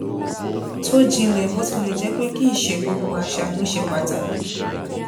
tó jínlé bó tilè jé pé kì í ṣe gbogbo àṣà ló ṣe pàtàkì